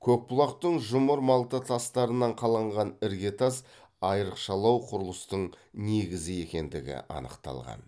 көкбұлақтың жұмыр малта тастарынан қаланған іргетас айрықшалау құрылыстың негізі екендігі анықталған